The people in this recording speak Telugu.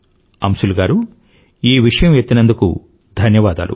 అంశుల్ గారూ ఈ విషయం ఎత్తినందుకు ధన్యవాదాలు